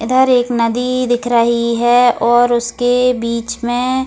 इधर एक नदी दिख रही है और उसके बीच में --